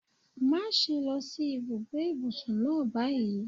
Má ṣe lọ sí ibùgbé ìbùsùn náà báyìí.